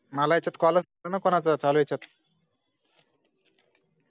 मला याच्यात call लच नई ना कोणाचा चालुयचात